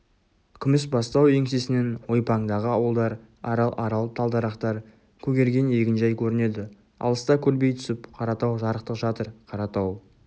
күмісбастау еңсесінен ойпаңдағы ауылдар арал-арал талдарақтар көгерген егінжай көрінеді алыста көлбей түсіп қаратау жарықтық жатыр қаратау